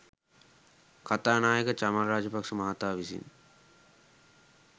කථානායක චමල් රාජපක්‍ෂ මහතා විසින්